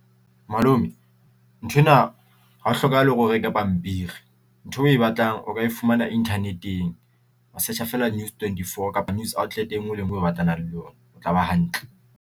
Malome nthwena ha ho hlokahale hore o reke pampiri ntho o e batlang o ka e fumana internet-eng wa search-a fela News24 kapa news outlet e ngwe le engwe o batlana le yona o tla ba hantle.